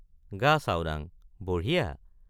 গাচাওডাঙ—বঢ়িয়া।